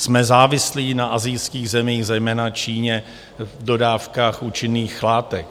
Jsme závislí na asijských zemích, zejména Číně, v dodávkách účinných látek.